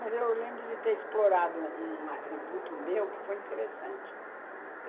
Mas eu lembro de ter explorado um atributo meu que foi interessante.